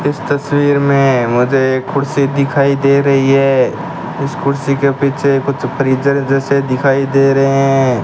इस तस्वीर में मुझे एक कुर्सी दिखाई दे रही है उस कुर्सी के पीछे कुछ फ्रीजर जैसे दिखाई दे रहे हैं।